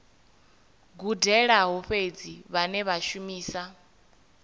gudelaho fhedzi vhane vha shumisa